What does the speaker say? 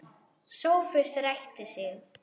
Sófus ræskti sig.